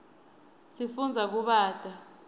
sifundza kubata